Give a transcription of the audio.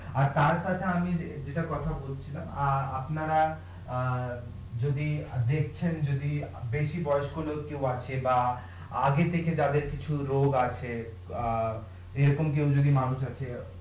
আর তার সাথে আমি যেটা কথা বলছিলাম অ্যাঁ আপনারা অ্যাঁ যদি দেখছেন যদি বেশি বয়স্ক লোক কেউ আছে বা আগে থেকে যাদের কিছু রোগ আছে অ্যাঁ এরকম কেউ যদি মানুষ আছে